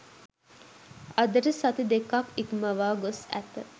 අදට සති දෙකක් ඉක්මවා ගොස් ඇත.